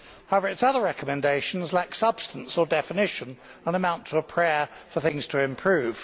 However, its other recommendations lack substance or definition and amount to a prayer for things to improve.